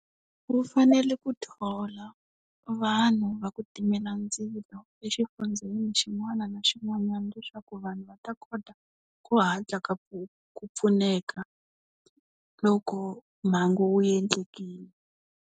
Ku fanele ku thola, vanhu va ku timela ndzilo exifundzheni xin'wana na xin'wanyana leswaku vanhu va ta kota ku hatla ka ku ku pfuneka, loko mhangu wu endlekile.